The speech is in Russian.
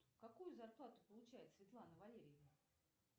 какую зарплату получает светлана валерьевна